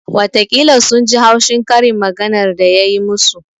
Watakila sun ji haushi karin maganar da ya yi musu